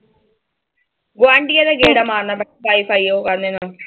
ਗੁਆਂਢੀਆਂ ਦੇ ਗੇੜਾ ਮਾਰਨਾ ਮੈਂ ਤਾਂ ਵਾਈ ਫਾਈ ਉਹੋ ਕਰਨੇ ਨੂੰ।